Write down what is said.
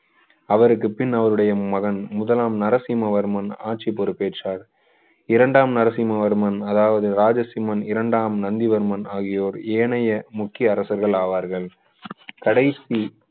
அவருக்குப் பின் அவருடைய மகன் முதலாம் நரசிம்மவர்மன் ஆட்சி பொறுப்பேற்றார் இரண்டாம் நரசிம்மவர்மன் அதாவது ராஜசிம்மன் இரண்டாம் நந்திவர்மன் ஆகியோர் ஏனைய முக்கிய அரசர்கள் அவார்கள் கடைசி